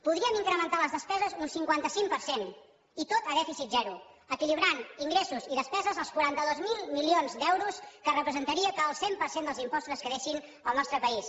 podríem incrementar les despeses un cinquanta cinc per cent i tot a dèficit zero equilibrant ingressos i despeses als quaranta dos mil milions d’euros que representaria que el cent per cent dels impostos es quedessin al nostre país